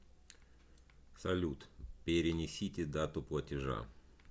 салют перенесите дату платежа